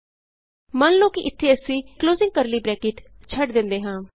ਮੰਨ ਲਉ ਕਿ ਇਥੇ ਅਸੀਂ ਛੱਡ ਦਿੰਦੇ ਹਾਂ